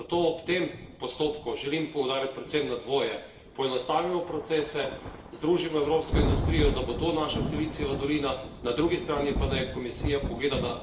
Zato ob tem postopku želim poudariti predvsem dvoje poenostavimo procese, združimo evropsko industrijo, da bo to naša Silicijeva dolina, na drugi strani pa naj Komisija pogleda na...